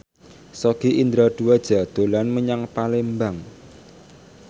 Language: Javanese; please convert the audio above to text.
Sogi Indra Duaja dolan menyang Palembang